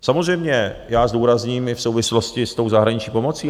Samozřejmě já zdůrazním i v souvislosti s tou zahraniční pomocí.